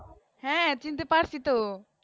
হেঁ চিনতে পারছি তো